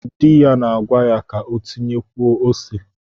Di ya na-agwa ya ka o tinyekwuo ose.